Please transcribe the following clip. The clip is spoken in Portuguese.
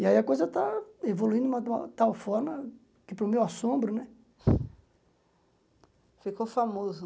E aí a coisa está evoluindo de uma tal forma que, para o meu assombro né... Ficou famoso.